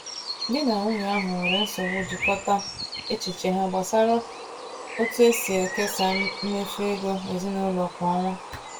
Di na nwunye ahụ nwere nsogbu ijikọta echiche ha gbasara otu esi ekesa mmefu ego ezinụlọ kwa ọnwa.